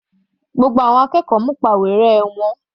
Gbogbo àwọn akẹ́kọ̀ọ́ mú ìpàwérẹ́.